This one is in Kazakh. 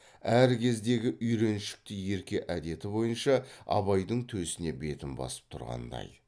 әр кездегі үйреншікті ерке әдеті бойынша абайдың төсіне бетін басып тұрғандай